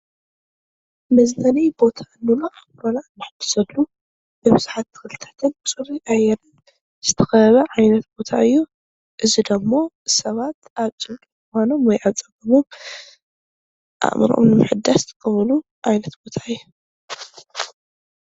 መፅለሊ ቦታ እንብሎ ኣካልና እነሕድሰሉ ብኣትክልታትን ብፅሩይ ኣየር ዝተኸበበ ዓይነት ቦታ እዩ፡፡ እዚ ደሞ ሰባት ኣብ ጭንቂ እዋኖምን ወይ ዓፀብኦም ኣእምሮኦም ንምሕዳስ ዝጥቀሙሉ ዓይነት ቦታ እዩ፡፡